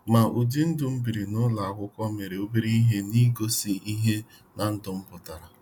Ma ụdi ndụ m biri n'ụlọ akwụkwọ mere ọbere ihe n'igosi ihe na ndụ m putara.